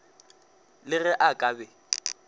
le ge a ka be